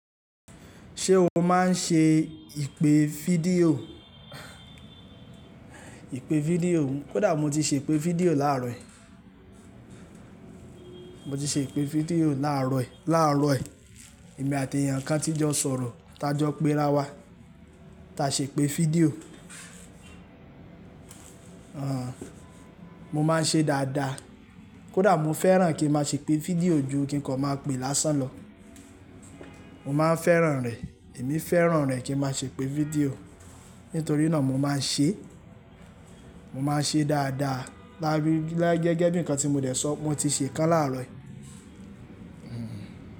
Ṣé wọn máa ń ṣe ìpè fídíò? Ìpè fídíò, kódà mo ti ṣe ìpè fídíò láàárọ̀ yìí. Mo ti ṣe ìpè fídíò láàárọ̀ yìí, láàárọ̀ yìí. Èmi àti èèyàn kan tí jọ sọ̀rọ̀, ta jọ pẹ́ra wa, ta ṣe ìpè fídíò. Aàn, mo máa ń ṣe dáadáa. Kódà mo fẹ́ràn kí n máa ṣe ìpè fídíò ju kí n kan máa pè lásán lọ. Mo máa ń fẹ́ràn rẹ̀. Èmi fẹ́ràn rẹ̀ kí n máa ṣe ìpè fídíò. Nítorí náà mo máa ń ṣe, mo máa ń ṣe dáadáa. Lá gẹ́gẹ́ bí nǹkan tí mo dẹ̀ sọ, mo ti ṣe kan láàárọ̀ yìí. Hmm.